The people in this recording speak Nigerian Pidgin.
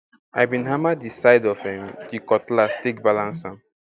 i bin hammer di side of um di cutlass take balance am